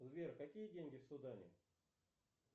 сбер какие деньги в судане